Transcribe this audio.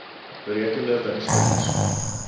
berekende wins verlies